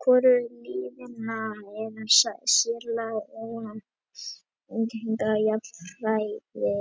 Hvorugt liðanna er sérlega ógnandi og er jafnræði